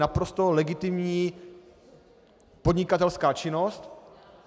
Naprosto legitimní podnikatelská činnost.